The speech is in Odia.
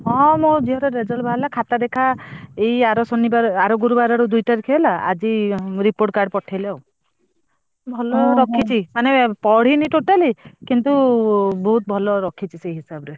ହଁ ମୋ ଝିଅର result ବାହାରିଲା ଖାତା ଦେଖା ଏଇ ଆର ଶନିବାର ଆର ଗୁରୁବାର ଦୁଇତାରିଖ ହେଲା ଆଜି report card ପଠେଇଲେ ବା। ଭଲ ରଖିଛି ମାନେ ପଢିନି totally କିନ୍ତୁ ବହୁତ ଭଲ ରଖିଛି ଏଇ ହିସାବରେ।